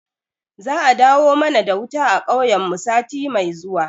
Za a dawo mana da wuta a kauyen mu sati mai zuwa